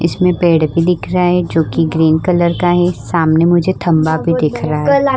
इसमे पेड़ भी दिख रहा है जो की ग्रीन कलर का है सामने मुझे खम्भा भी दिख रहा है।